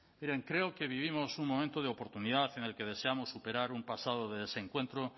miren creo que vivimos un momento de oportunidad en el que deseamos superar un pasado de desencuentro